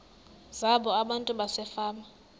zabo abantu basefama